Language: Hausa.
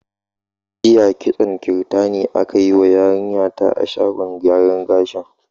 Jiya kitson kirtani aka yi ma yarinya ta a shagon gyaran gashin.